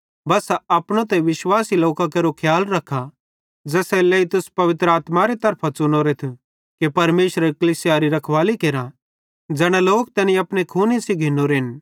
बस्सा अपनो ते सारे विश्वासी लोकां केरो खियाल रखा ज़ेसेरे लेइ तुस पवित्र आत्मारे तरफां च़ुनोरेथ कि परमेशरेरी कलीसियारी रखवाली केरा ज़ै लोक तैनी अपने खूने सेइं घिन्नोरेन